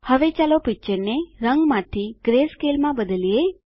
હવે ચાલો પિક્ચરને રંગમાંથી ગ્રેસ્કેલ માં બદલીએ